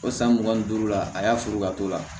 O san mugan ni duuru la a y'a furu ka t'o la